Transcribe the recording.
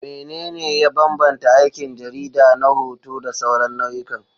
Menene ya bambanta aikin jarida na hoto da sauran nau'ikan?